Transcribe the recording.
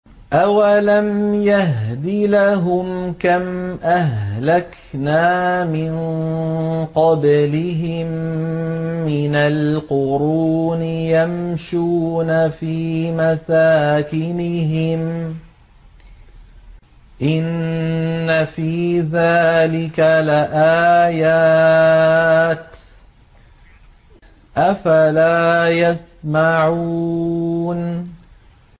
أَوَلَمْ يَهْدِ لَهُمْ كَمْ أَهْلَكْنَا مِن قَبْلِهِم مِّنَ الْقُرُونِ يَمْشُونَ فِي مَسَاكِنِهِمْ ۚ إِنَّ فِي ذَٰلِكَ لَآيَاتٍ ۖ أَفَلَا يَسْمَعُونَ